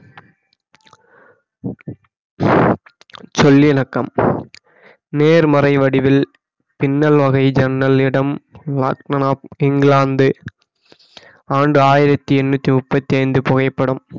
சொல்லிண்க்கம் நேர்மறை வடிவில் பின்னல் வகை ஜன்னல் இடம் இங்கிலாந்து ஆண்டு ஆயிரத்தி எட்நூத்தி முப்பத்தி ஐந்து புகைப்படம்